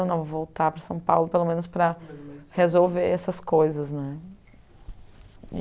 Eu não vou voltar para São Paulo, pelo menos para resolver essas coisas, né?